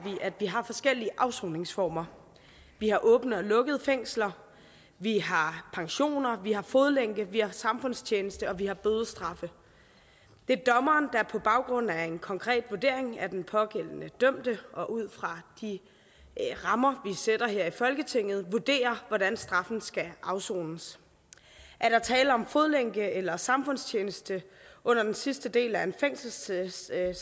at vi har forskellige afsoningsformer vi har åbne og lukkede fængsler vi har pensioner vi har fodlænke vi har samfundstjeneste og vi har bødestraffe det er dommeren der på baggrund af en konkret vurdering af den pågældende dømte og ud fra de rammer vi sætter her i folketinget vurderer hvordan straffen skal afsones er der tale om fodlænke eller samfundstjeneste under den sidste del af en fængselsstraf